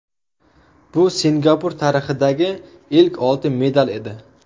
Bu Singapur tarixidagi ilk oltin medal edi.